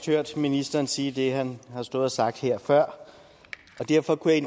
hørt ministeren sige det han har stået og sagt her og derfor kunne jeg